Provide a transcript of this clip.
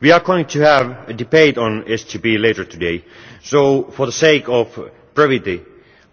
We are going to have a debate on SGP later today, so, for the sake of brevity,